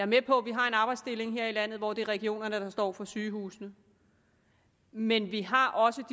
med på at vi har en arbejdsdeling her i landet hvor det er regionerne der står for sygehusene men vi har også